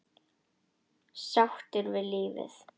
Sáttur við lífið.